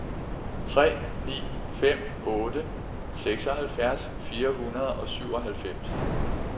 tre ni fem otte seksoghalvfjerds fire hundrede og syvoghalvfems